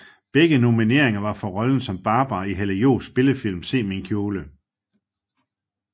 Begge nomineringer var for rollen som Barbara i Hella Joofs spillefilm Se min kjole